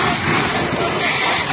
Qoyma gəlsin, qoyma gəlsin.